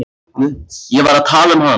Ég var að tala um hann.